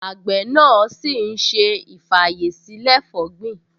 Àgbẹ̀ náà ṣì ń ṣe ì-fàyèsílẹ̀-fọ̀gbin